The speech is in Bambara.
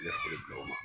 Ne foli bila o ma